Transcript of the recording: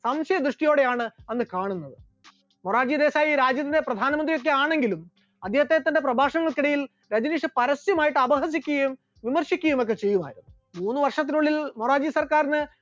സംശയദൃഷ്ടിയോടെയാണ് അന്ന് കാണുന്നത്, മൊറാർജി ദേശായി രാജ്യത്തിൻറെ പ്രധാനമന്ത്രി ഒക്കെ ആണെങ്കിലും അദ്ദേഹം തന്റെ പ്രഭാഷണങ്ങൾക്കിടയിൽ രജനീഷിനെ പരസ്യമായിട്ട് അപഹസിക്കുകയും വിമർശിക്കുകയും ഒക്കെ ചെയ്യുമായിരുന്നു, മൂന്ന് വർഷത്തിനുള്ളിൽ മൊറാർജി സർക്കാരിന്